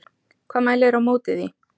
Hvað mælir á móti því?